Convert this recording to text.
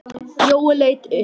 Jói leit upp.